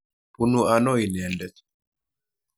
Punu ano inendet?